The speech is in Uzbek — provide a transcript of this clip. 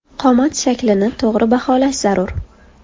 Qomat shaklini to‘g‘ri baholash zarur.